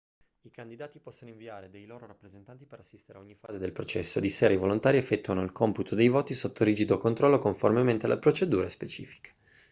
i candidati possono inviare dei loro rappresentanti per assistere a ogni fase del processo di sera i volontari effettuano il computo dei voti sotto rigido controllo conformemente alle procedure specifiche